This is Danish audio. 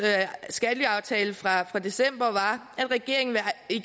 skattelyaftale fra december var at regeringen